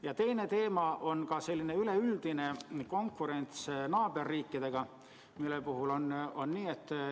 Ja teine teema on selline üleüldine konkurents naaberriikidega.